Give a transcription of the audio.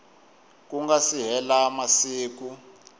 ku nga se hela masiku